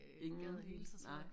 Ingen hilste nej